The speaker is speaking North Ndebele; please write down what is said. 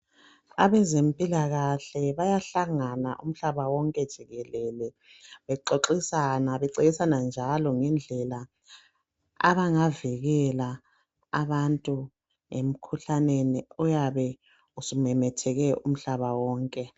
Abezempilakahle bayahlangana umhlaba wonke jikelele bexoxisana, becebisana njalo ngendlela abangavikela abantu emkhuhlaneni oyabe usumemethekile umhlaba wonke.